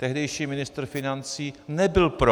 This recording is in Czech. Tehdejší ministr financí nebyl pro.